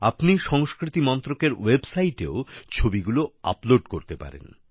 আপনি সংস্কৃতি মন্ত্রকের ওয়েবসাইটেও ছবিগুলি আপলোড করতে পারেন